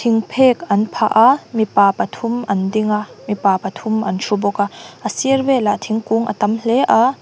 phek an phah a mipa pathum an ding a mipa pathum an ṭhu bawk a a sir velah thingkung a tam hle a.